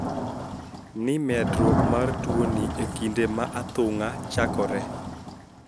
Ni medruok mar tuoni e kinde ma athung`a chakoree